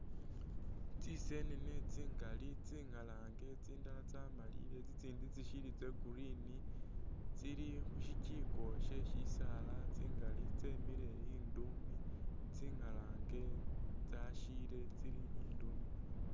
Tsisenene tsingali tsingalange tsindala tsamalile tsitsindi tsishili tsa green tsili khu shijiko sye sisaala tsingali tsemile induumi tsingalange tsasyiile tsili induumi.